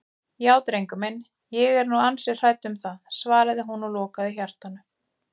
Já drengur minn, ég er nú ansi hrædd um það, svaraði hún og lokaði hjartanu.